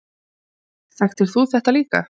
Hrund Þórsdóttir: Þekktir þú þetta líka?